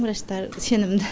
врачтары сенімді